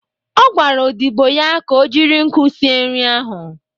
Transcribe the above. Ọ gwara odịbo ya ka o jiri nkụ sie nri ahụ.